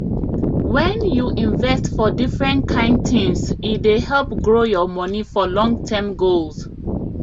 when you invest for different kind things e dey help grow your money for longterm goals